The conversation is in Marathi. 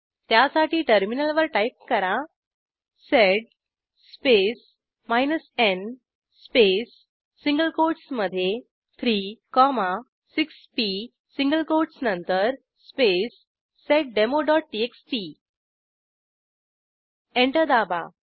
त्यासाठी टर्मिनलवर टाईप करा sed space n space single कोटसमधे 3 6पी सिंगल कोटस नंतर स्पेस seddemoटीएक्सटी एंटर दाबा